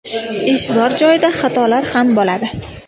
Ish bor joyda xatolar ham bo‘ladi.